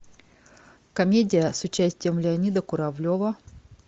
комедия с участием леонида куравлева